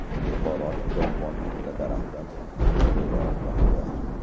Buxorolik bog‘bon bitta daraxtdan ikki xil meva olmoqda.